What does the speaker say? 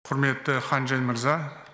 құрметті хан чжень мырза